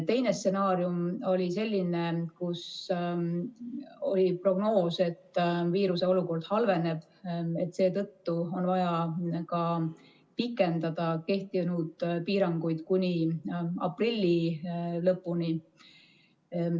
Teine stsenaarium oli selline, kus oli prognoos, et viiruseolukord halveneb, seetõttu on vaja pikendada kehtivaid piiranguid kuni aprilli lõpuni.